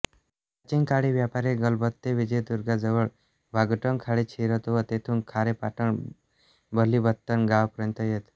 प्राचीन काळी व्यापारी गलबते विजयदुर्गाजवळ वाघोटन खाडीत शिरत व तेथून खारेपाटण बलिपत्तन गावापर्यंत येत